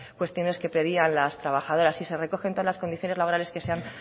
cuestiones que pedían las trabajadoras y se recogen todas las condiciones laborales que se han